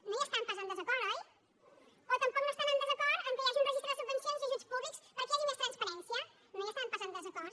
no hi estan pas en desacord oi o tampoc no estan en desacord que hi hagi un registre de subvencions i ajuts públics perquè hi hagi més transparència no hi estan pas en desacord